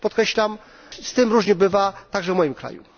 Podkreślam, z tym różnie bywa, także w moim kraju.